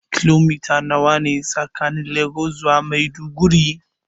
Kilomita nawa ne tsakanin Legas zuwa Maiduguri.